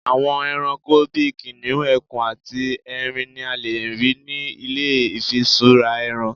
àwọn eranko bi kiniun, ẹkùn ati erin ni a lè rí nì ilé ifisura ẹran